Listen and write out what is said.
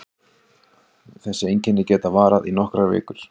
Þessi einkenni geta varað í nokkrar vikur.